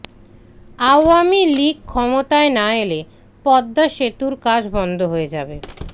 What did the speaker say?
আওয়ামী লীগ ক্ষমতায় না এলে পদ্মা সেতুর কাজ বন্ধ হয়ে যাবে